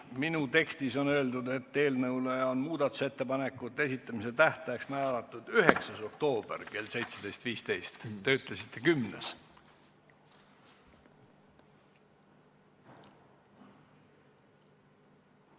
Minu tekstis on öeldud, et eelnõu muudatusettepanekute esitamise tähtajaks on määratud 9. oktoober kell 17.15, teie ütlesite 10. oktoober.